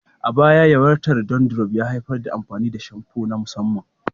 A baya, yawaitar dandruff ya haifar da amfani da shamfu na musamman.